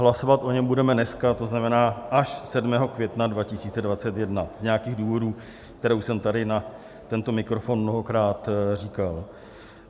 Hlasovat o něm budeme dneska, to znamená až 7. května 2021, z nějakých důvodů, které jsem už tady na tento mikrofon mnohokrát říkal.